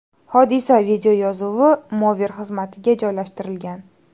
Hodisa videoyozuvi Mover xizmatiga joylashtirilgan .